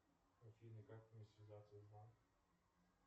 афина как мне связаться с банком